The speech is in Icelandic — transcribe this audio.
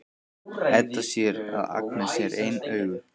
Edda sér að Agnes er ein augu.